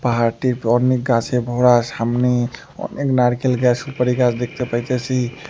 পাহাড়টির অনেক গাসে ভরা সামনে অনেক নারকেল গাস সুপারি গাস দেখতে পাইতেসি।